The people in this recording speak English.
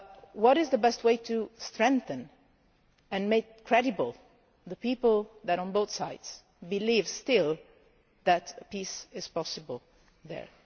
What is the best way to strengthen and make credible the people who on both sides still believe that peace is possible there?